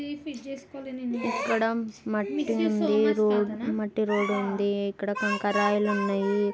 ఇక్కడ మట్టుంది. మట్టి రోడ్డు ఉంది. ఇక్కడ కంకర రాయిలున్నాయి.